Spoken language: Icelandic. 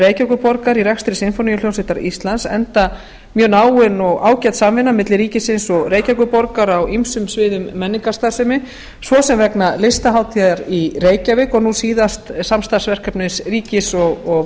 reykjavíkurborgar í rekstri sinfóníuhljómsveitar íslands enda mjög náin og ágæt samvinna milli ríkisins og reykjavíkurborgar á ýmsum sviðum menningarstarfsemi svo sem vegna listahátíðar í reykjavík og nú síðast samstarfsverkefni ríkis og